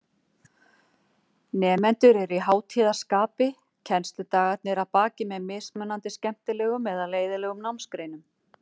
Nemendur eru í hátíðarskapi, kennsludagarnir að baki með mismunandi skemmtilegum eða leiðinlegum námsgreinum.